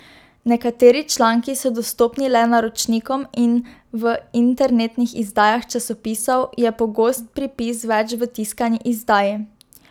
Nekateri članki so dostopni le naročnikom in v internetnih izdajah časopisov je pogost pripis več v tiskani izdaji.